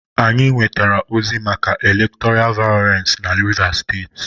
Anyị nwetara ozi maka elektọra vayọlensị na Rivas steeti.